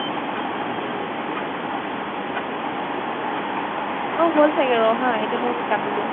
ঐ হʼল চাগে ৰʼ হা এতিয়া মৈ কাটি দিও